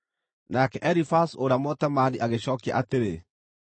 Nake Elifazu ũrĩa Mũtemaani agĩcookia atĩrĩ: